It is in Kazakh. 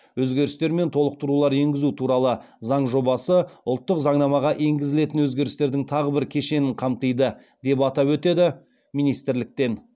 өзгерістер мен толықтырулар енгізу туралы заң жобасы ұлттық заңнамаға енгізілетін өзгерістердің тағы бір кешенін қамтиды деп атап өтеді министрліктен